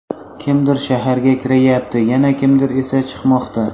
Kimdir shaharga kiryapti, yana kimdir esa chiqmoqda.